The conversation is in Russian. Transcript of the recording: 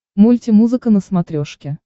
мультимузыка на смотрешке